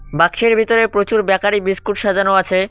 বাক্সের ভিতরে প্রচুর বেকারি বিস্কুট সাজানো আছে।